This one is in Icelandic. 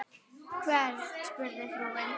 Hvern? spurði frúin.